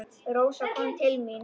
Rósa kom til mín.